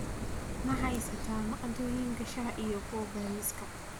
ma haysataa maaddooyinka shaaha iyo kuwa bariska